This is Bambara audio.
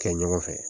Kɛ ɲɔgɔn fɛ